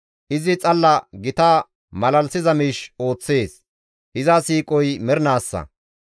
Izi xalla gita malalisiza miish ooththees; iza siiqoy mernaassa.